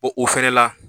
O o fɛnɛ la